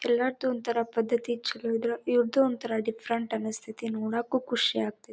ಎಲ್ಲರದು ಒಂತರ ಪದ್ದತಿ ಚಲೋ ಇದ್ರ ಇವ್ರ್ದು ಒಂತರ ಡಿಫರೆಂಟ್ ಅನಸ್ತತಿ ನೋಡಕ್ಕೂ ಖುಷಿ ಆಗ್ತಾತಿ.